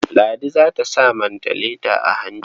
Ladi za ta sa mantaleta a hanci.